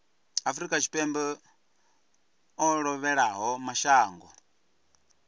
afrika tshipembe o lovhelaho mashango